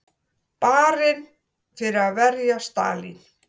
Barinn fyrir að verja Stalín